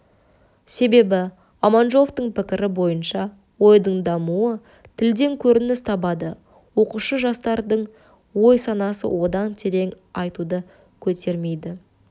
себебі аманжоловтың пікірі бойынша ойдың дамуы тілден көрініс табады оқушы жастардың ой-санасы одан терең айтуды көтермейді